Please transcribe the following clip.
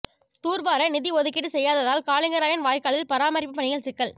தூர்வார நிதி ஒதுக்கீடு செய்யாததால் காலிங்கராயன் வாய்க்காலில் பராமரிப்பு பணியில் சிக்கல்